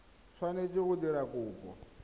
o tshwanetse go dira kopo